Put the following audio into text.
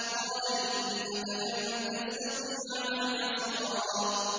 قَالَ إِنَّكَ لَن تَسْتَطِيعَ مَعِيَ صَبْرًا